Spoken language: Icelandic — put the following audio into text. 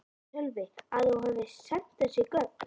Sölvi: Að þú hafi sent þessi gögn?